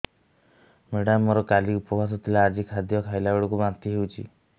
madam ମୋର କାଲି ଉପବାସ ଥିଲା ଆଜି ଖାଦ୍ୟ ଖାଇଲା ବେଳକୁ ବାନ୍ତି ହେଊଛି